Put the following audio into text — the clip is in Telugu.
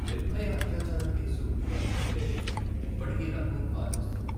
నిర్భయ అత్యాచారం కేసు తలచుకుంటే ఇప్పటికీ నాకు బాధేస్తుంది.